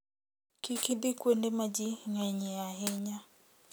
Kik idhi kuonde ma ji ng'enyie ahinya.